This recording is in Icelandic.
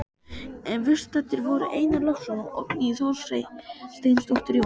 Viðstaddir voru Einar Loftsson og Oddný Þorsteinsdóttir, Jón